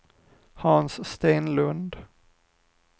Hans Stenlund